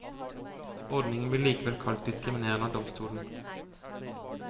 Ordningen blir likevel kalt diskriminerende av domstolen.